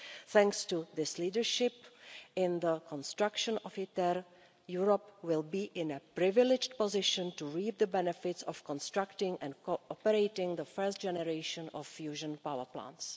Thanks to this leadership in the construction of ITER, Europe will be in a privileged position to reap the benefits of constructing and cooperating the first generation of fusion power plants.